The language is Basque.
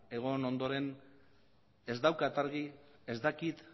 egon ondoren ez daukat argi ez dakit